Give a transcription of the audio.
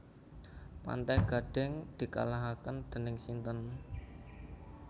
Pantai Gading dikalahaken dening sinten?